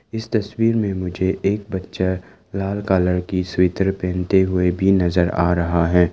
इस तस्वीर में मुझे एक बच्चा लाल कॉलर की स्वेटर पहनते हुए भी नजर आ रहा है।